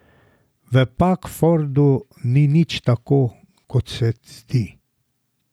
V Pagfordu ni nič tako, kot se zdi.